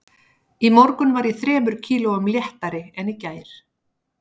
Í morgun var ég þremur kílóum léttari en í gær